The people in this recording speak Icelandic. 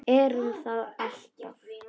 Erum það alltaf.